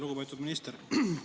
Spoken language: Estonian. Lugupeetud minister!